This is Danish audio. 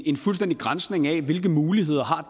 en fuldstændig granskning af hvilke muligheder